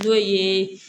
N'o ye